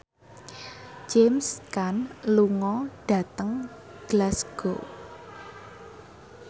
James Caan lunga dhateng Glasgow